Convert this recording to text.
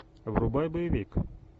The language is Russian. врубай боевик